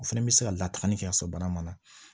O fɛnɛ bɛ se ka lataagali kɛ ka sɔrɔ bana ma na